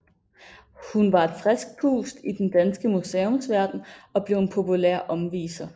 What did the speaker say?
Hun var et frisk pust i den danske museumsverden og blev en populær omviser